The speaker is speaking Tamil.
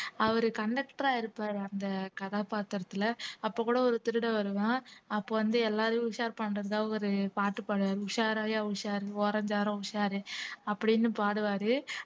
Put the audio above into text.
அவரு conductor ஆ இருப்பாரு அந்த கதாபாத்திரத்துல அப்ப கூட ஒரு திருடன் வருவான் அப்ப வந்து எல்லாரையும் உஷார் பண்றதுதான் ஒரு பாட்டு பாடுவாரு உஷாராய்யா உஷார் ஓரஞ்சாரம் உஷார் அப்படின்னு பாடுவாரு